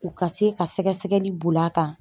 U ka se ka sɛgɛsɛgɛli bol'a kan